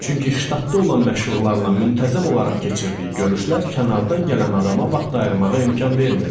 Çünki ştatda olan məşhurlarla müntəzəm olaraq keçirdiyi görüşlər kənardan gələn adama vaxt ayırmağa imkan vermirdi.